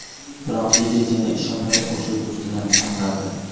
Biroq yigit yana ishonmay o‘sha do‘stini chaqiradi.